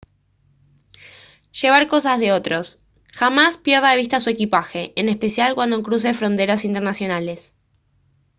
llevar cosas de otros jamás pierda de vista su equipaje en especial cuando cruce fronteras internacionales